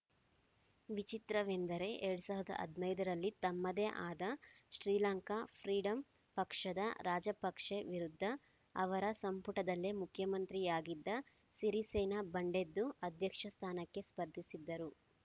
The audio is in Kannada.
ವಿಚಿತ್ರವೆಂದರೆ ಎರಡ್ ಸಾವಿರದ ಹದನೈದರಲ್ಲಿ ತಮ್ಮದೇ ಆದ ಶ್ರೀಲಂಕಾ ಫ್ರೀಡಂ ಪಕ್ಷದ ರಾಜಪಕ್ಸೆ ವಿರುದ್ಧ ಅವರ ಸಂಪುಟದಲ್ಲೇ ಮಂತ್ರಿಯಾಗಿದ್ದ ಸಿರಿಸೇನ ಬಂಡೆದ್ದು ಅಧ್ಯಕ್ಷ ಸ್ಥಾನಕ್ಕೆ ಸ್ಪರ್ಧಿಸಿದ್ದರು